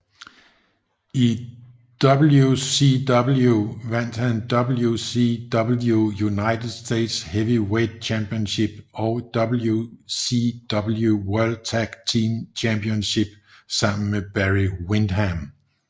I WCW vandt han WCW United States Heavyweight Championship og WCW World Tag Team Championship sammen med Barry Windham